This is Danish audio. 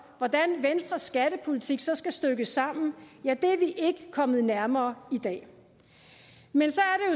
hvordan venstres skattepolitik så skal stykkes sammen ja det er vi ikke kommet nærmere i dag men